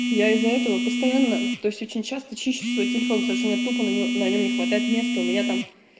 я из-за этого постоянно то есть очень часто чищу свой телефон потому что у меня тупо на него на нем не хватает места у меня там